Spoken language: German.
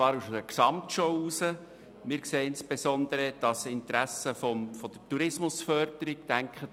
Unseres Erachtens sprechen insbesondere die Interessen der Tourismusförderung dafür.